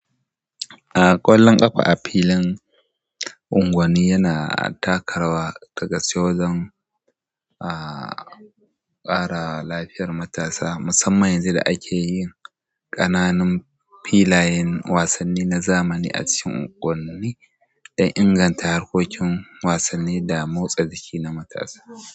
Kwallon kafa a filin unguwanni yana taka rawa dagaske wajen ƙara lafiyar matasa, musamman yanzu da ake yin ƙananun filayen wasanni na zamani a cikin unguwanni da inganta harkokin wasanni da motsa jiki na matasa.